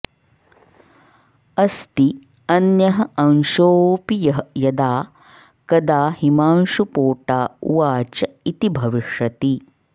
अस्ति अन्यः अंशोऽपि यः यदा कदा हिमांशुपोटा उवाच इति भविष्यति